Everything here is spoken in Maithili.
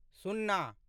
सुन्ना